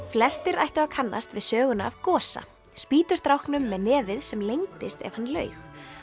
flestir ættu að kannast við söguna af Gosa með nefið sem lengdist ef hann laug